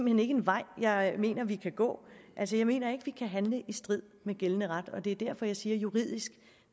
hen ikke en vej jeg mener vi kan gå altså jeg mener ikke at vi kan handle i strid med gældende ret og det er derfor jeg siger at juridisk